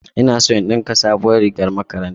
Ina so in ɗinka sabuwar rigar makaranta